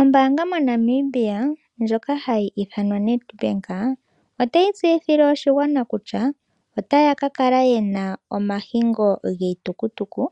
Ombaanga moNamibia ndjoka hayi ithwana Nedbank otayi tseyithile oshigwana kutya, otaya ka kala yena omahingo giitukutuku